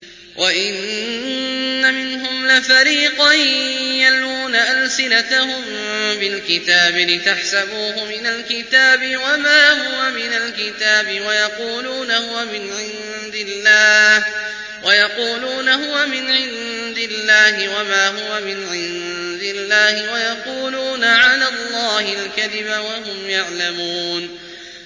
وَإِنَّ مِنْهُمْ لَفَرِيقًا يَلْوُونَ أَلْسِنَتَهُم بِالْكِتَابِ لِتَحْسَبُوهُ مِنَ الْكِتَابِ وَمَا هُوَ مِنَ الْكِتَابِ وَيَقُولُونَ هُوَ مِنْ عِندِ اللَّهِ وَمَا هُوَ مِنْ عِندِ اللَّهِ وَيَقُولُونَ عَلَى اللَّهِ الْكَذِبَ وَهُمْ يَعْلَمُونَ